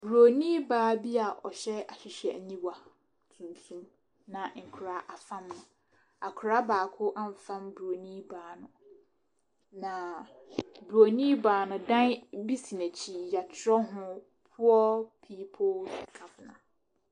Bronin baa bi a ɔhyɛ ahwehwɛniwa tuntum na afam ne so. Akwadaa baako afam bronin ba no. na bronin baa no, dan bi si n’akyi yɛatwerɛ ho world people governor.